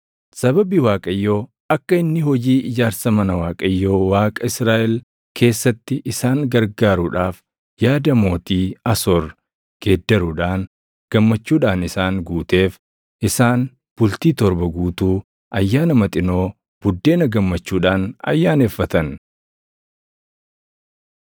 Sababii Waaqayyo akka inni hojii ijaarsa mana Waaqayyo Waaqa Israaʼel keessatti isaan gargaaruudhaaf yaada mootii Asoor geeddaruudhaan gammachuudhaan isaan guuteef isaan bultii torba guutuu Ayyaana Maxinoo Buddeena gammachuudhaan ayyaaneffatan.